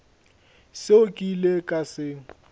seo ke ilego ka se